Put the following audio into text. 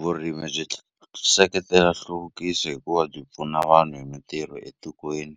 Vurimi byi seketela nhluvukiso hikuva byi pfuna vanhu hi mintirho etikweni